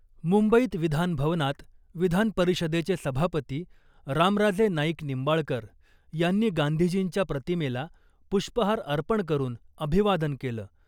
मुंबईत विधान भवनात विधान परिषदेचे सभापती रामराजे नाईक निंबाळकर यांनी गांधीजींच्या प्रतिमेला पुष्पहार अर्पण करुन अभिवादन केलं .